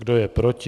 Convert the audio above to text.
Kdo je proti?